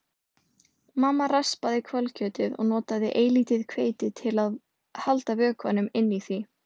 Mamma raspaði hvalkjötið og notaði eilítið hveiti til að halda vökvanum inni í því.